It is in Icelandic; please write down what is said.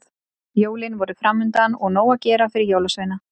Jólin voru framundan og nóg að gera fyrir jólasveina.